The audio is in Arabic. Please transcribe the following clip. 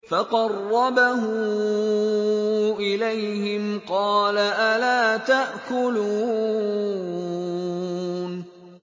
فَقَرَّبَهُ إِلَيْهِمْ قَالَ أَلَا تَأْكُلُونَ